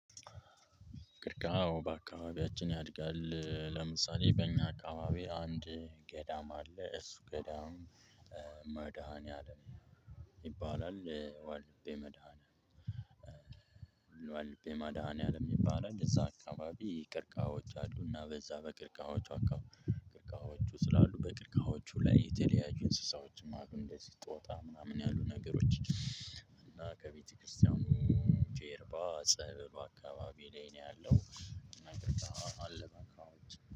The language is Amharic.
ቀርከሐ አዎ በአካባቢያችን ያድጋል። ለምሳሌ በእኛ አካባቢ አንድ ገዳም አለ። እሱ ገዳም መድኃኒዓለም ይባላል። ወልድቤ መድኃኒዓለም ይባላል። እዛ አካባቢ ቀርካዎች አሉ እና በዛ በቀርካዎቹ አካባቢ ቀርካዎቹ ስላሉ በቀርካዎቹ ላይ የተለያዩ እንስሳዎችም አሉ። እንደዚህ ጦጣ ምናምን ያሉ ነገሮች እና ከቤተክርስቲያኑ ጀርባ ጸበል በአካባቢ ላይ ነው ያለው። እና ቀርካሐ አለ በአካባቢያችን።